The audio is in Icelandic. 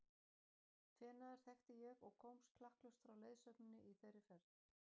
Feneyjar þekkti ég og komst klakklaust frá leiðsögninni í þeirri ferð.